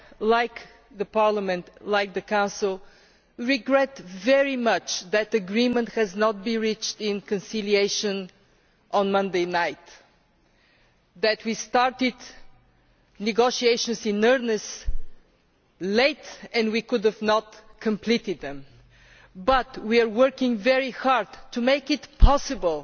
Like Parliament, like the Council, we regret very much that agreement was not reached in conciliation on Monday night and that we started negotiations in earnest late and could not complete them, but we are working very hard to make it possible